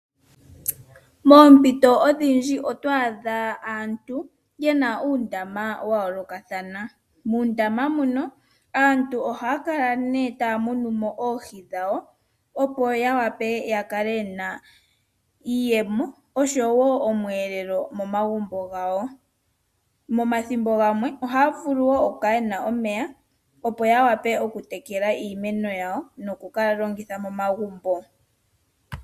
Moompito odhindji otwaadha aantu yena uundama wayoolokathana. Muundama mbuno aantu ohaya kala taya munu mo oohi opo ya vule ya kale yena iiyemo oshowo omweelelo momagumbo gawo. Momathimbo gamwe ohaya vulu okukala yena omeya opo ya vule okutekela iimeno yawo nokuga longitha momagumbo.